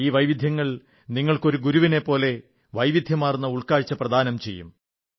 ഈ വൈവിധ്യങ്ങൾ നിങ്ങൾക്ക് ഒരു ഗുരുവിനെപ്പോലെ വൈവിധ്യമാർന്ന ഉൾക്കാഴ്ച പ്രദാനം ചെയ്യും